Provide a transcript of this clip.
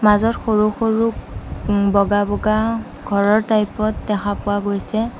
মাজত সৰু সৰু উম্ বগা বগা ঘৰৰ টাইপত দেখা পোৱা গৈছে।